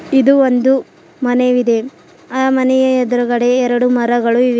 ಇದು ಒಂದು ಮನೆವಿದೆ ಆ ಮನೆಯ ಎದುರುಗಡೆ ಎರಡು ಮರಗಳು ಇವೆ.